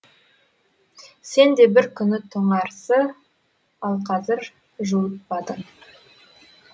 сенде бір күні тоңарсы ал қазір жуытпады